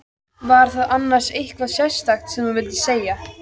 Var það annars eitthvað sérstakt sem þú vildir segja?